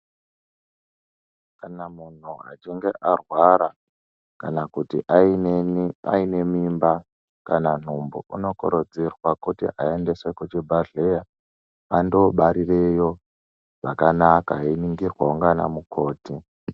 Kana munhu achinge arwara kana kuti aine mimba kana nhumbu anokurudzirwa kuti aendeswe kuchibhedhleya anobarireyo zvakanaka einingirwawo ndiana mukoti.